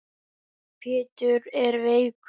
Pétur er veikur.